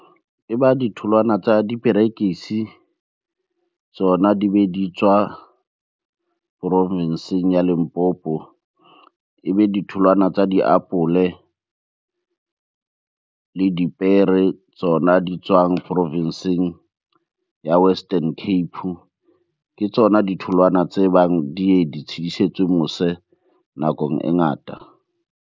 E ba ditholwana tsa diperekisi, tsona di be di tswa porofenseng ya Limpopo. Ebe ditholwana tsa diapole, le dipere tsona di tswang porofenseng ya Western Cape. Ke tsona ditholwana tse bang di ye di tshidisetswe mose nakong e ngata.